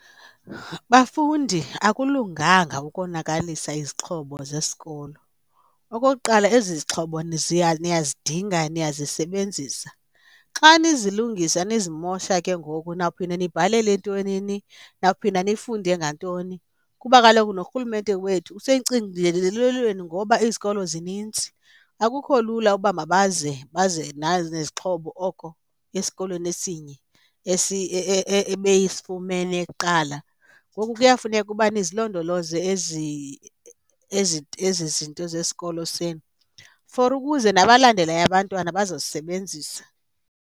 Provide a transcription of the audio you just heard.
Bafundi, akulunganga ukonakalisa izixhobo zesikolo. Okokuqala, ezi zixhobo niyazidinga, niyazisebenzisa. Xa nizilungisa nizimosha ke ngoku nawuphinda nibhalele entwenini, nawuphinda nifunde ngantoni. Kuba kaloku loo rhulumente wethu ngoba izikolo zininzi. Akukho lula uba mabazame baze nezixhobo oko esikolweni esinye ebefumene kuqala. Ngoku kuyafuneka uba nizilondoloze ezi zinto zesikolo senu for ukuze nabalandelayo abantwana bazozisebenzisa.